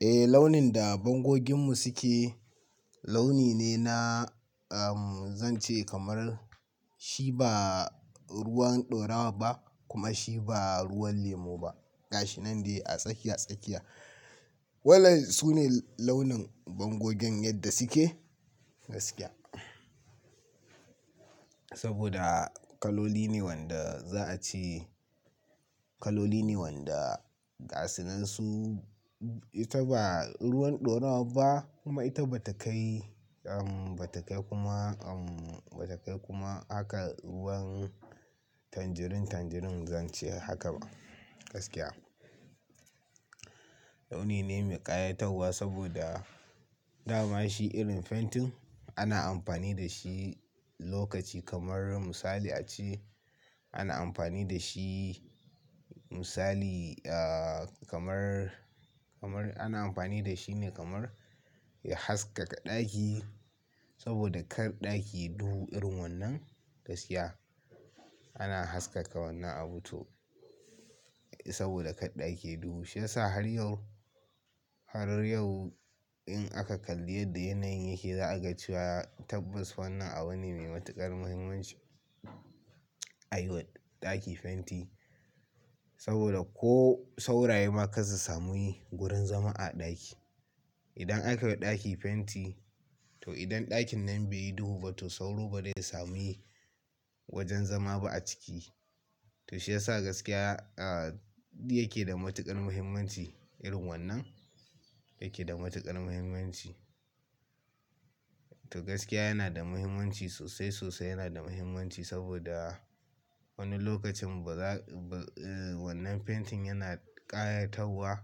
Eh launin da bangoginmu suke, launi ne na, zan ce kamar shi ba ruwan ɗora wa ba kuma shi ba ruwan lemo ba. Gashi nan dai a tsakiya tsakiya. Waɗannan su ne launin bangogen yadda suke gaskiya. Saboda kaloli ne wanda za a ce. Kaloli ne wanda gasunan su, ita ba ruwan ɗorawa ba kuma ita ba ta kai, ba ta kai kuma, ba ta kai kuma hakan ruwan tanjirin tanjirin zan ce haka ba gaskiya. Launi ne mai ƙayatarwa saboda dama shi irin fentin ana amfani da shi lokaci kamar misali a ce ana amfani da shi misali kamar, kamar ana amfani da shi ne kamar haskaka ɗaki. Saboda kar ɗaki yayi duhu irin wannan gaskiya. Ana haskaka wannan abu to. Saboda kar ɗaki yayi duhu. Shi yasa har yau, har yau in aka kalli yadda yanayin yake za a ga cewa tabbas wannan abu ne mai matuƙar muhimmanci. A yi wa ɗaki fenti saboda ko sauraye ma kar susa mi wurin zama a ɗaki. Idan aka yi wa ɗaki fenti to idan ɗakin nan bai yi duhu ba to sauro ba zai samu wajen zama ba a ciki. To shi yasa gaskiya yake da matuƙar muhimmanci irin wannan yake da matuƙar muhimmanci. To gaskiya yana da muhimmanci sosai, sosai yana da muhimmanci saboda wani lokacin ba za, wannan fentin yana ƙayatarwa,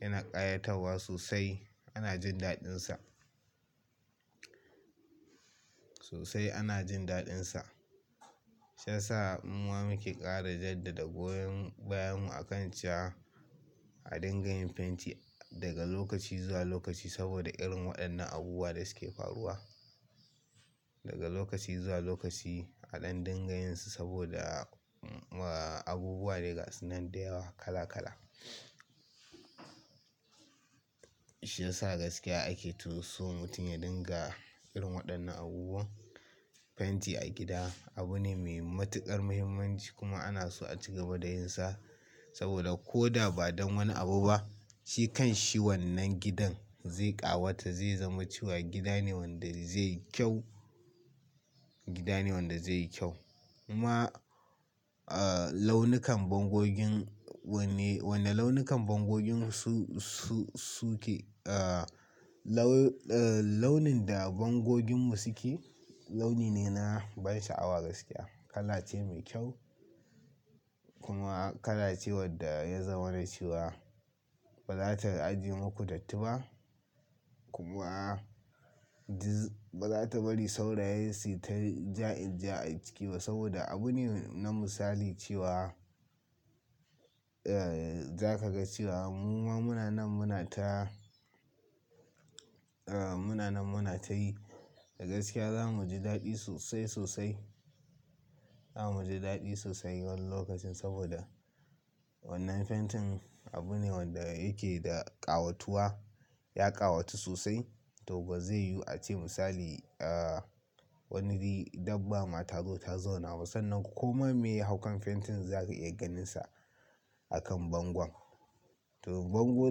yana ƙayatarwa sosai. Ana jin daɗinsa. Sosai ana jin daɗinsa. Shi yasa muma muke ƙara jaddada goyon bayanmu a kan cewa a dingayin fenti daga lokaci zuwa lokaci saboda irin waɗannan abubuwa da suke faruwa. Daga lokaci zuwa lokaci a ɗan dinga yinsu saboda abubuwa da gasu nan da yawa kala kala. Shi yasa gaskiya ake toso mutum ya dinga irin waɗannan abubuwan. Fenti a gida abu ne mai matuƙar muhimmanci kuma ana so a ci gaba da yin sa saboda ko da ba don wani abu ba shi kan shi wannan gidan zai ƙawata, zai zama cewa gida ne wanda zai yi kyau. Gida ne wanda zai yi kyau. Kuma launukan bangogin wanne, wannan launukan bangogin su, su, suke, launin da bangoginmu suke, launi ne na ban sha'awa gaskiya. Kala ce mai kyau kuma kala ce wadda ya zama na cewa ba za ta aje makudatti ba kuma ba za ta bari sauraye su ta ja inja a jiki ba saboda abu ne na misali cewa za ka ga cewa muma munanan muna ta, munanan muna ta yi. Da gaskiya za mu ji daɗi sosai, sosai. Za mu ji daɗi sosai wani lokacin saboda wannan fentin abu ne wanda yake da ƙawatuwa, ya ƙawata sosai. To ba zai yiwu a ce misali wani dabbama ta zo ta zauna ba sannan kuma me ya haukan fentin za ka iya ganinsa a kan bangon. To bango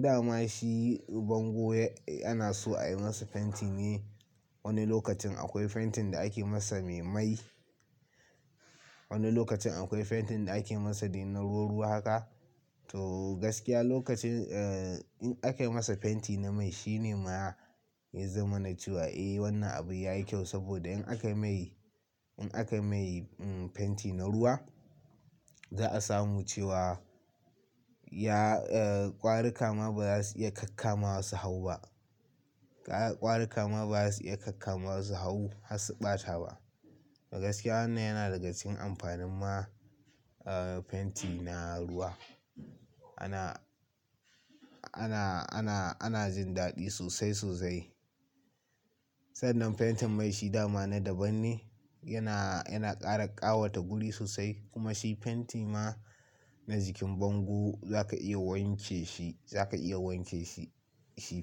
dama shi bango ana so a yi masa fentin ne. Wani lokacin akwai fentin da ake masa mai mai. Wani lokacin akwai fentin da ake masa dai na ruwa-ruwa haka. To gaskiya lokacin in aka yi masa fenti na mai shi ne ma ya zama na cewa eh wannan abu ya yi kyau saboda in aka mai, in aka mai fenti na ruwa, za a samu cewa ya, ƙwarikama ba za su iya kakka ma su hau ba. Ƙwarikama ba za su iya kakka ma su hau har su ɓata ba. To gaskiya wannan yana daga cikin amfanin ma fenti na ruwa. Ana, ana, ana, ana jin daɗi sosai, sosai. Sannan fentin mai shi dama na daban ne. Yana, yana ƙara ƙawata guri sosai kuma shi fenti ma na jikin bango za ka iya wanke shi, za ka iya wanke shi shi.